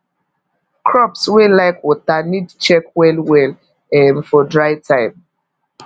crops wey like water need check wellwell um for dry time